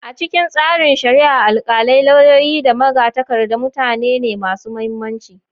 A cikin tsarin shari'a, alkalai, lauyoyi, da magatakarda mutane ne masu mahimmanci.